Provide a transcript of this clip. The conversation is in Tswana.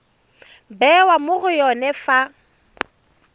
bewa mo go yone fa